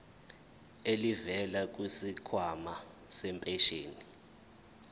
elivela kwisikhwama sempesheni